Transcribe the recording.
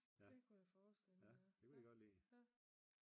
Det kunne jeg forestille mig